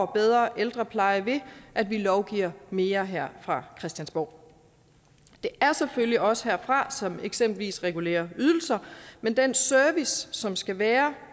bedre ældrepleje ved at vi lovgiver mere her fra christiansborg det er selvfølgelig os som herfra eksempelvis regulerer ydelser men den service som skal være